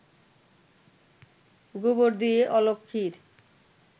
গোবর দিয়ে অলক্ষ্মীর